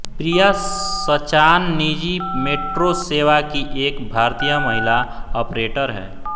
प्रिया सचान निजी मेट्रो सेवा की एक भारतीय महिला ऑपरेटर है